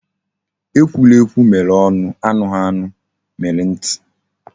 Ee ekwughiekwu mere onu, anughianu mere nti